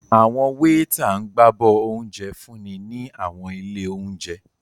Awọn weeta ǹ gbabọ ounjẹ f́unni ni awọn ile ounjẹ.